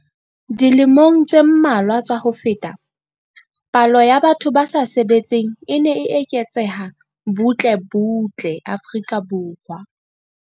Dilemong tse mmalwa tsa ho feta, palo ya batho ba sa sebetseng e ne e eketseha butle butle Afrika Borwa.